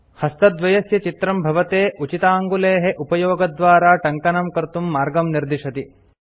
हस्तद्वयस्य चित्रं भवते उचिताङ्गुलेः उपयोगद्वारा टङ्कनं कर्तुं मार्गं निर्दिशति